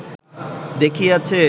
দেখিয়াছে